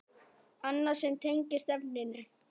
Annað sem tengist efninu